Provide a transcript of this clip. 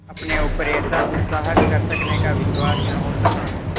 अपने ऊपर ऐसा दुस्साहस कर सकने का विश्वास न हो सका